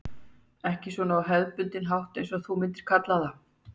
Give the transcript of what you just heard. Ekki svona á hefðbundinn hátt eins og þú myndir kalla það.